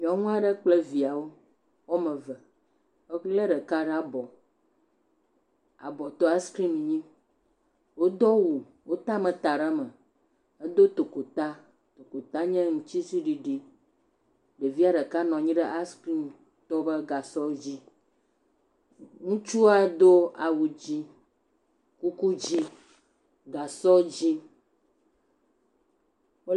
Nyɔnu aɖe kple viawo eve. Ebla ɖeka ɖe abɔ. Abɔtɔ le askrim nyim, wodo awu, wota ameta ɖe eme. Edo tokota, tokota nye aŋutiɖiɖi. Ɖevia ɖeka nɔ anyi ɖe askrimtɔ la ƒe gasɔ dzi. Ŋutsua do awu dzɛ̃, kuku dzɛ̃, gasɔ dzɛ̃.